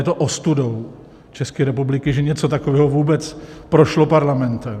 Je to ostudou České republiky, že něco takového vůbec prošlo parlamentem.